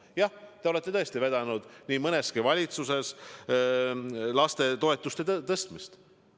Jah, te olete tõesti vedanud nii mõneski valitsuses lastetoetuste tõstmist.